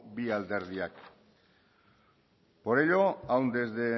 bi alderdiek por ello aún desde